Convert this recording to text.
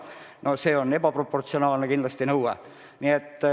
No see on kindlasti ebaproportsionaalne nõue.